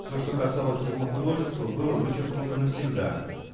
все что касалось его художества было вычеркнуто навсегда